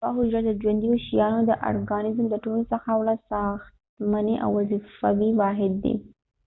یوه حجره د ژونديو شيانو د ارګانزم د ټولوڅخه وړه ساختمانی او وظیفوي واحد دي